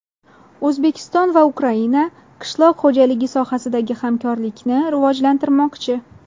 O‘zbekiston va Ukraina qishloq xo‘jaligi sohasidagi hamkorlikni rivojlantirmoqchi.